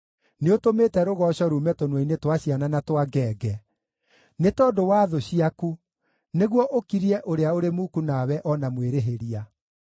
Nĩũtũmĩte rũgooco ruume tũnua-inĩ twa ciana na twa ngenge, nĩ tondũ wa thũ ciaku, nĩguo ũkirie ũrĩa ũrĩ muku nawe o na mwĩrĩhĩria.